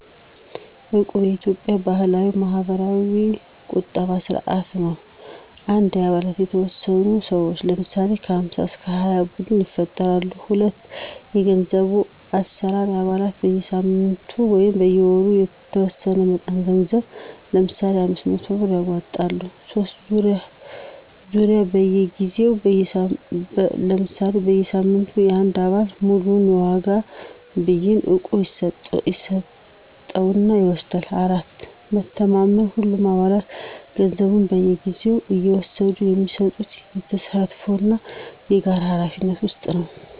"እቁብ" የኢትዮጵያ ባህላዊ (ማህበራዊ ቁጠባ ስርዓት) ነው። 1. አባላት የተወሰኑ ሰዎች (ለምሳሌ 5-20) ቡድን ይፈጥራሉ። 2. የገንዘብ አሠራር አባላቱ በየሳምንቱ/ወሩ የተወሰነ መጠን ገንዘብ (ለምሳሌ 500 ብር) ያዋጣሉ። 3. ዙርያ በየጊዜው (ለምሳሌ በየሳምንቱ) አንድ አባል ሙሉውን የዋጋ ብይን (እቁብ) ይስጠው እና ይወስዳል። 4. መተማመን ሁሉም አባላት ገንዘቡን በየጊዜው እየወሰዱ የሚሰጡት በተሳትፎ እና በጋራ ኃላፊነት ውስጥ ነው።